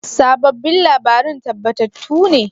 Sabobbin labaran tabbatattu ne?